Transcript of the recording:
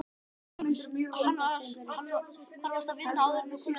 Jóhannes: Hvar varstu að vinna áður en þú komst hingað?